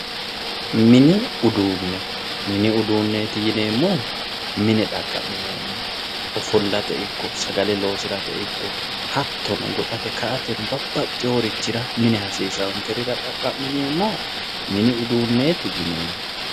Mini uduune, mini uduuneti yineemmohu mine xaqamineemmoho ofollate ikko sagale loosirate ikko hattono goxate ka"ate babbaxeworichita mine hasiisanokkerira xaqa'mineemmoha mini uduuneti yineemmo.